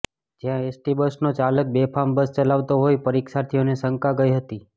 જ્યાં એસટી બસનો ચાલક બેફામ બસ ચલાવતો હોય પરીક્ષાર્થીઓને શંકા ગઈ હતી